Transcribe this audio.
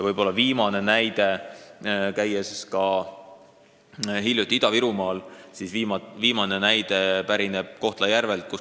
Võib-olla viimane näide pärineb Kohtla-Järvelt.